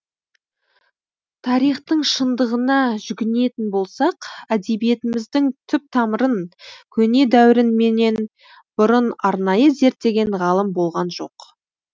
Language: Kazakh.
тарихтың шындығына жүгінетін болсақ әдебиетіміздің түп тамырын көне дәуірін менен бұрын арнайы зерттеген ғалым болған жоқ